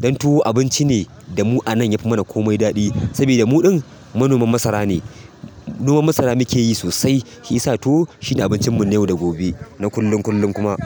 dan tuwo abinci ne da mu anan yafi mana komai daɗi saboda muɗun manomin masara ne. Manomin masara muke yi sosai shi ya sa tuwo shine abincin mu na yau da gobe na kullum kullum kuma.